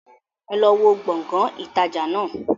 Ẹ lọ wó Gbọ̀ngán ìtajà náà!